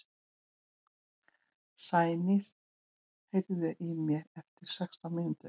Sæný, heyrðu í mér eftir sextán mínútur.